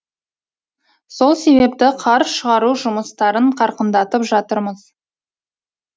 сол себепті қар шығару жұмыстарын қарқындатып жатырмыз